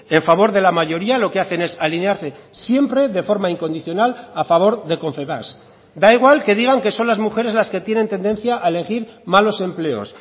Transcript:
en favor de la mayoría lo que hacen es alinearse siempre de forma incondicional a favor de confebask da igual que digan que son las mujeres las que tienen tendencia a elegir malos empleos